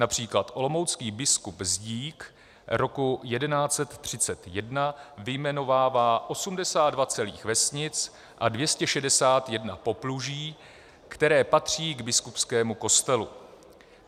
Například olomoucký biskup Zdík roku 1131 vyjmenovává 82 celých vesnic a 261 popluží, které patří k biskupskému kostelu.